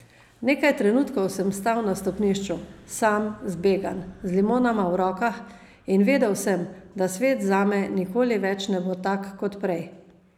Nekaj trenutkov sem stal na stopnišču, sam, zbegan, z limonama v rokah, in vedel sem, da svet zame nikoli več ne bo tak kot prej.